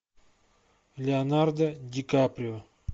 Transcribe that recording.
леонардо ди каприо